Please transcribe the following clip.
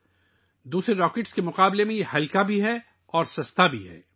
یہ دوسرے راکٹوں سے ہلکا بھی ہے اور سستا بھی ہے